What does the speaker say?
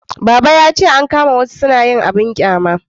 baba ya ce an kama wasu su na yin abun ƙyama